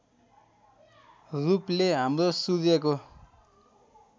रूपले हाम्रो सूर्यको